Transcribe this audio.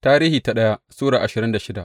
daya Tarihi Sura ashirin da shida